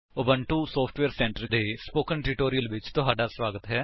Ubuntu software centre ਦੇ spoken tutorial ਵਿੱਚ ਤੁਹਾਡਾ ਸਵਾਗਤ ਹੈ